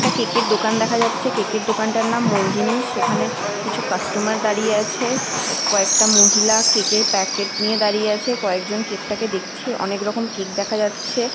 কেকের দোকান দেখা যাচ্ছে। কেকে এর দোকানটার মনজিনিস । সেখানে কিছু কাস্টমার দাঁড়িয়ে আছে। কয়েকটা মহিলা কেকে এর প্যাকেট নিয়ে দাঁড়িয়ে আছে। কয়েকজন কেক তাকে দেখছে। অনেক রকম কেক দেখা যাচ্ছে।